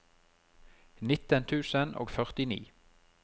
nitten tusen og førtini